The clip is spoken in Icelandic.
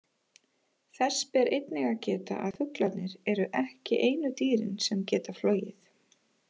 Þess ber einnig að geta að fuglarnir eru ekki einu dýrin sem geta flogið.